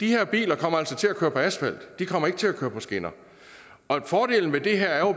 her biler kommer altså til at køre på asfalt de kommer ikke til at køre på skinner og fordelen ved det her er jo